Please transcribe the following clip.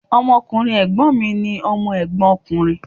Ọmọ ọkùnrin Ègbón mi ni Ọmọ Ègbón ọkùnrin